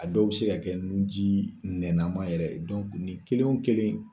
A dɔw bɛ se ka kɛ nu ji nɛnama yɛrɛ ye. ni kelen o kelen.